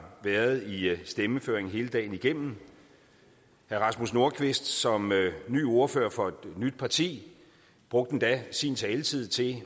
været i stemmeføringen hele dagen igennem herre rasmus nordqvist som ny ordfører for et nyt parti brugte endda sin taletid til